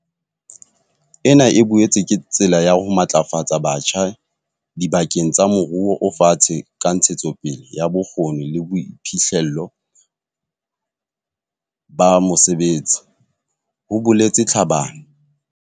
"Ena e boetse ke tsela ya ho matlafatsa batjha diba keng tsa moruo o fatshe ka ntshetsopele ya bokgoni le boiphihlello ba mosebetsi," ho boletse Tlhabane.